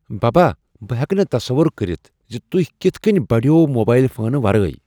ببا بہٕ ہیٚکہٕ نہٕ تصور کٔرتھ زِ تُہۍ کِتھ كٕنۍ بڑییوٕ موبایل فونہٕ ورٲے ؟